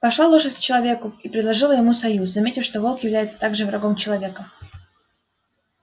пошла лошадь к человеку и предложила ему союз заметив что волк является также врагом человека